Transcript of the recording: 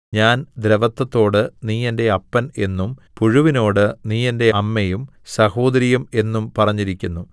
ഞാൻ ദ്രവത്വത്തോട് നീ എന്റെ അപ്പൻ എന്നും പുഴുവിനോട് നീ എന്റെ അമ്മയും സഹോദരിയും എന്നും പറഞ്ഞിരിക്കുന്നു